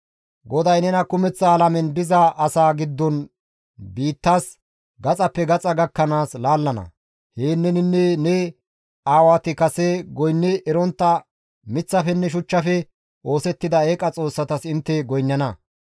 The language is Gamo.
GODAY nena kumeththa alamen diza asaa giddon biittas gaxappe gaxa gakkanaas laallana; heen neninne ne aawati kase goynni erontta miththafenne shuchchafe oosettida eeqa xoossatas intte goynnana.